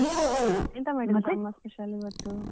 ಅಮ್ಮ special ಇವತ್ತು?